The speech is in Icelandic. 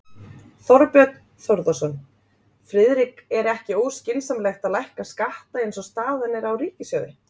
Þorbjörn Þórðarson: Friðrik er ekki óskynsamlegt að lækka skatta eins og staðan er á ríkissjóði?